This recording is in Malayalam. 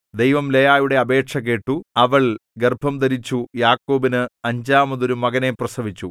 ദൈവം ലേയായുടെ അപേക്ഷ കേട്ടു അവൾ ഗർഭംധരിച്ചു യാക്കോബിന് അഞ്ചാമത് ഒരു മകനെ പ്രസവിച്ചു